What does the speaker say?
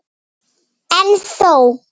En þó.